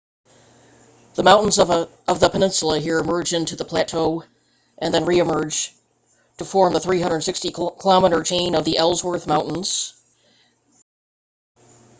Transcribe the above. the mountains of the peninsula here merge into the plateau then re-emerge to form the 360 km chain of the ellsworth mountains bisected by the minnesota glacier